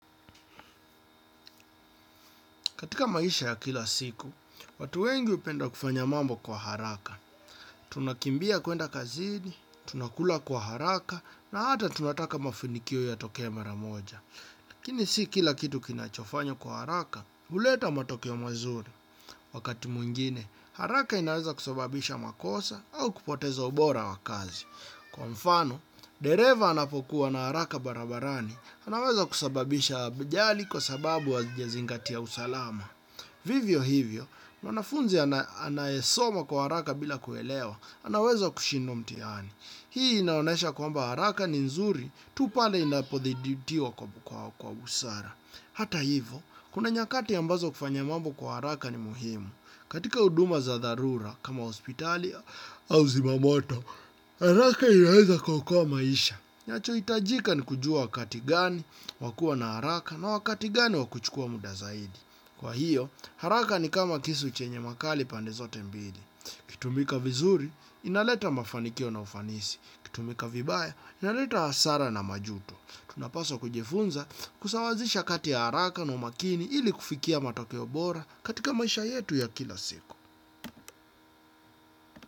Katika maisha ya kila siku, watu wengi upenda kufanya mambo kwa haraka. Tunakimbia kuenda kazini, tunakula kwa haraka, na hata tunataka mafinikio ya tokee mara moja. Lakini si kila kitu kinachofanywa kwa haraka, uleta matokeo mazuri. Wakati mwingine, haraka inaweza kusababisha makosa au kupoteza ubora wa kazi. Kwa mfano, dereva anapokuwa na haraka barabarani, anaweza kusababisha vijali kwa sababu hajazingatia usalama. Vivyo hivyo, mwanafunzi anayesoma kwa haraka bila kuelewa, anaweza kushindwa mtiani. Hii inaonesha kwamba haraka ni nzuri, tu pale inapothiditio kwa usara. Hata hivyo, kuna nyakati ambazo kufanya mambo kwa haraka ni muhimu. Katika huduma za dharura, kama hospitali au zimamoto, haraka inaweza kuokoa maisha. Nyacho itajika ni kujua wakati gani wakua na haraka na wakati gani wakuchukua muda zaidi. Kwa hiyo, haraka ni kama kisu chenye makali pandezote mbili. ikitumika vizuri, inaleta mafanikio na ufanisi. Ikitumika vibaya, inaleta hasara na majuto. Tunapaswa kujifunza kusawazisha kati ya haraka na umakini ili kufikia matoke obora katika maisha yetu ya kila siku.